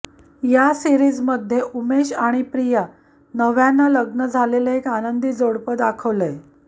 या सीरिजमध्ये उमेश आणि प्रिया नव्यानं लग्न झालेलं एक आनंदी जोडपं दाखवलंय